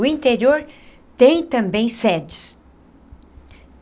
O interior tem também sedes.